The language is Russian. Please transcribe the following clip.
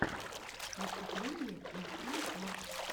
выступление машули по